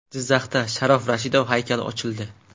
Jizzaxda Sharof Rashidov haykali ochildi.